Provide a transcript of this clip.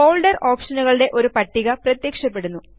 folder ഓപ്ഷനുകളുടെ ഒരു പട്ടിക പ്രത്യക്ഷപ്പെടുന്നു